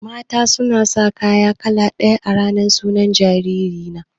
Mata sun sa kaya kala ɗaya a ranar sunan jariri na.